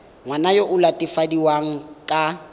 ngwana yo o latofadiwang ka